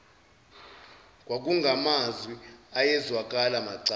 kwakungamazwi ayezwakala macala